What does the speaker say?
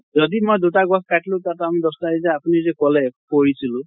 যদি মই দুটা গছ কাটিলো তাত আমি দশ টা এতিয়া আপুনি যে কলে পঢ়িছিলো